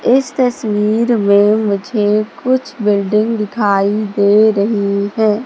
इस तस्वीर में मुझे कुछ बिल्डिंग दिखाई दे रही है।